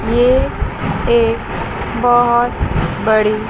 ये एक बहोत बड़ी--